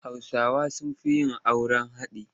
Hausawa da sun fi yin auren haɗi.